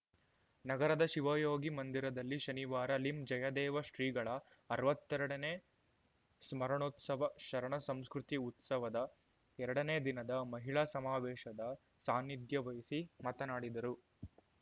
ನಗರದ ಶಿವಯೋಗಿ ಮಂದಿರದಲ್ಲಿ ಶನಿವಾರ ಲಿಂ ಜಯದೇವ ಶ್ರೀಗಳ ಅರ್ವತ್ತೆರಡನೇ ಸ್ಮರಣೋತ್ಸವ ಶರಣ ಸಂಸ್ಕೃತಿ ಉತ್ಸವದ ಎರಡನೇ ದಿನದ ಮಹಿಳಾ ಸಮಾವೇಶದ ಸಾನಿಧ್ಯ ವಹಿಸಿ ಮಾತನಾಡಿದರು